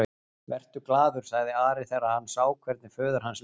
Vertu glaður, sagði Ari þegar hann sá hvernig föður hans leið.